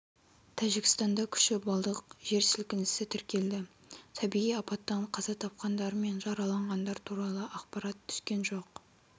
тәжікстанда күші балдық жер сілкінісі тіркелді табиғи апаттан қаза тапқандар мен жараланғандар туралы ақпарат түскен жоқ